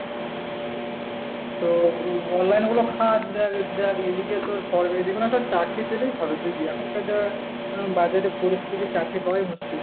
তো online এর গুলো খাট দেখ দেখ এইদিকে তোর সরকারি যে কোন একটা চাকরি পেলেই হবে। এখনকার যার বাজারের পরিস্থিতি চাকরি পাওয়াই মুশকিল।